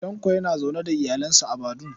Tanko yana zaune da iyalinsa a Badun